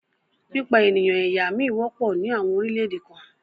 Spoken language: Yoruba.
Pípa ènìyàn ẹ̀yà mí wọ́pọ̀ ní àwọn orílẹ̀-èdè kan